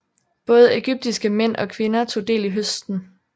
Både ægyptiske mænd og kvinder tog del i høsten